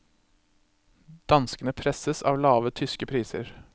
Danskene presses av lave tyske priser.